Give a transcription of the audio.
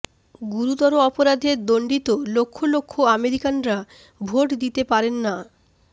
গুরুতর অপরাধে দণ্ডিত লক্ষ লক্ষ আমেরিকানরা ভোট দিতে পারেন না